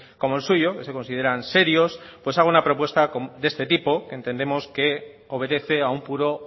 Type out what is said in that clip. como el suyo que se consideran serios pues haga una propuesta de este tipo entendemos que obedece a un puro